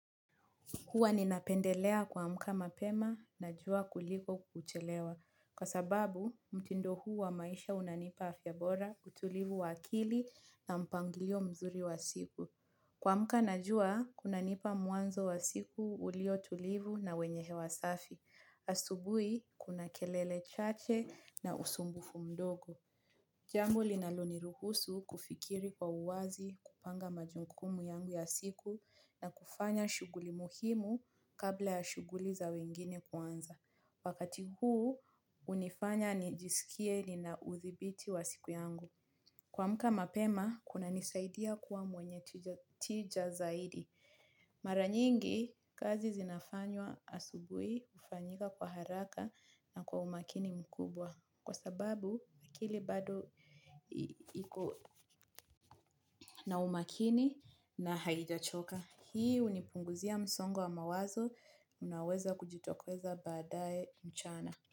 Huwa ninapendelea kuamka mapema na jua kuliko kuchelewa. Kwa sababu, mtindo huu wa maisha unanipa afyabora utulivu wa akili na mpanglio mzuri wa siku. Kuamka na jua, kunanipa muanzo wa siku ulio tulivu na wenye hewa safi. Asubui, kuna kelele chache na usumbufu mdogo. Jambo linaloni ruhusu kufikiri kwa uwazi kupanga majunkumu yangu ya siku na kufanya shuguli muhimu kabla ya shuguli za wengine kuanza. Wakati huu unifanya nijisikie ninaudhibiti wa siku yangu. Kuamka mapema, kunanisaidia kuwa mwenye tija zaidi. Maranyingi, kazi zinafanywa asubui ufanyika kwa haraka na kwa umakini mkubwa. Kwa sababu akili bado ina umakini na haijachoka. Hii unipunguzia msongo wa mawazo. Unaweza kujitokeza badae mchana.